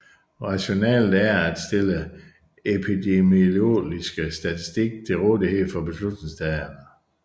Rationalet er at stille epidemiologisk statistik til rådighed for beslutningstagere